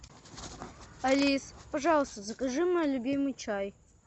алиса пожалуйста закажи мой любимый чай